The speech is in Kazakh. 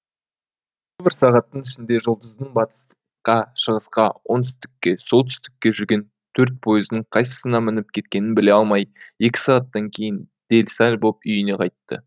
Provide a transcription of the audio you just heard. бір сағаттың ішінде жұлдыздың батысқа шығысқа оңтүстікке солтүстікке жүрген төрт поездың қайсысына мініп кеткенін біле алмай екі сағаттан кейін дел сал боп үйіне қайтты